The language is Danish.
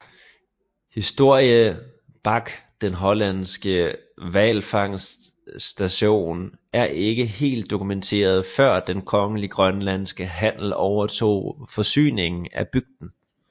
Historie bak den hollandske hvalfangerstation er ikke helt dokumenteret før Den Kongelige Grønlandske Handel overtog forsyningen af bygden